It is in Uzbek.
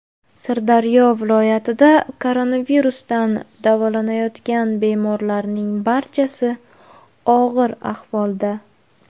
Sirdaryo viloyatida koronavirusdan davolanayotgan bemorlarning barchasi og‘ir ahvolda.